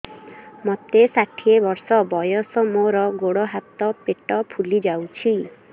ମୋତେ ଷାଠିଏ ବର୍ଷ ବୟସ ମୋର ଗୋଡୋ ହାତ ପେଟ ଫୁଲି ଯାଉଛି